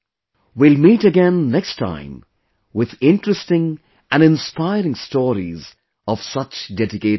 We will meet again next time with interesting and inspiring stories of such dedicated people